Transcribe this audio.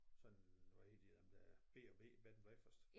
Sådan hvad hedder de dem der b og b bed and breakfast